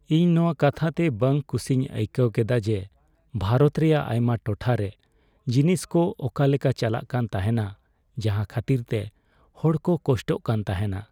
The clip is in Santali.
ᱤᱧ ᱱᱚᱣᱟ ᱠᱟᱛᱷᱟᱛᱮ ᱵᱟᱝ ᱠᱩᱥᱤᱧ ᱟᱹᱭᱠᱟᱹᱣ ᱠᱮᱫᱟ ᱡᱮ ᱵᱷᱟᱨᱚᱛ ᱨᱮᱭᱟᱜ ᱟᱭᱢᱟ ᱴᱚᱴᱷᱟ ᱨᱮ ᱡᱤᱱᱤᱥ ᱠᱚ ᱚᱠᱟ ᱞᱮᱠᱟ ᱪᱟᱞᱟᱜ ᱠᱟᱱ ᱛᱟᱦᱮᱱᱟ, ᱡᱟᱦᱟᱸ ᱠᱷᱟᱹᱛᱤᱨᱛᱮ ᱦᱚᱲᱠᱚ ᱠᱚᱥᱴᱚᱜ ᱠᱟᱱ ᱛᱟᱦᱮᱱᱟ ᱾